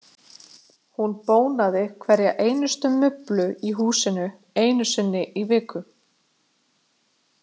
Hún bónaði hverja einustu mublu í húsin einu sinni í viku.